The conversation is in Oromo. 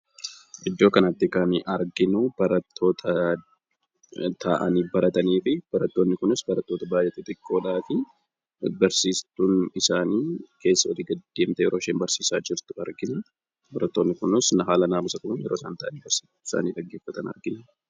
Iddoo kanatti kan arginu, barattoota taa'anii baratanii fi barattoonni kunis barattoota baayyee xixiqqoodhaa fi barsiistuun isaanii keessa olii gad deemtee yeroo isheen barsiisaa jirtu argina. Barattoonni kunis haala naamusa qabuun yeroo isaan taa'anii barsiistuu isaanii dhaggeeffatan argina.